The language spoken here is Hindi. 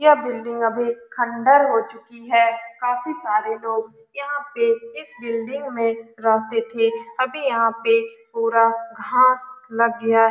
यह बिल्डिंग अभी खण्डर हो चुकी है काफी सारे लोग यहाँ पे इस बिल्डिंग में रहते थे अभी यहाँ पे पूरा घांस लग गया --